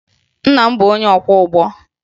Nna m bụ onye ọkwọụgbọ